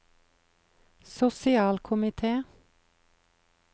sosialkomite